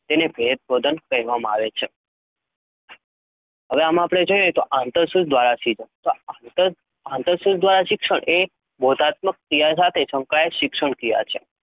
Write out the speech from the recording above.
તેને ભેદબોધન કહે વામાં આવે છે. હવે આપડે આમાં જોઈએ તો આંતરસૂઝ દ્વારા શિક્ષણ આંતરસૂઝ શિક્ષણ એ એક બોધાત્મક ક્રિયા સાથે સંકળાયેલ શિક્ષણપ્રક્રિયા છે.